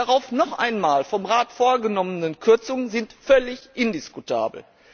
Die darauf noch einmal vom Rat vorgenommenen Kürzungen sind völlig indiskutabel!